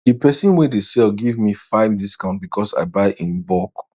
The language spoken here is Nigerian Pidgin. d person wey dey sell give me five discount because i buy in bulk